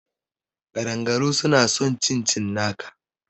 Ƙadangaru suna son cin cinnaka